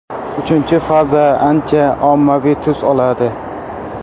Uchinchi faza ancha ommaviy tus oladi.